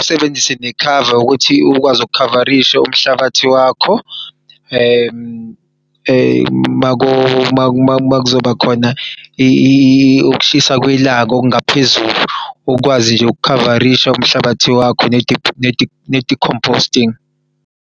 usebenzise nekhava ukuthi ukwazi ukukhavarisha umhlabathi wakho. Makuzoba khona ukushisa kwelanga okungaphezulu ukwazi nje ukukhavarisha umhlabathi wakho ne-decomposting.